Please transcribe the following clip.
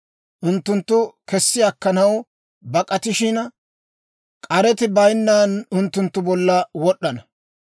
Unttunttu kessi akkanaw bak'atishina, k'areti bayinnan unttunttu bolla wod'd'ana.